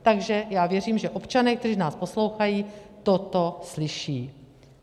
Takže já věřím, že občané, kteří nás poslouchají, toto slyší.